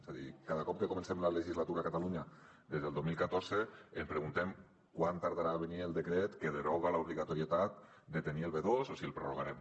és a dir cada cop que comencem la legislatura a catalunya des del dos mil catorze ens preguntem quant tardarà a venir el decret que deroga l’obligatorietat de tenir el b2 o si el prorrogarem